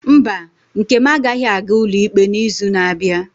Mba, nkem agaghị aga ụlọ ikpe n'izu na-abịa.